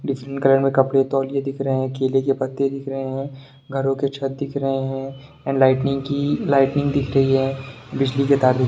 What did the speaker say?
Different colour में कपड़े तौलिये दिख रहे है केले के पत्ते दिख रहे है घरो के छत दिख रहे है एंड लाइटनिंग की लाइटनिंग दिख रही है बिजली के तार भी।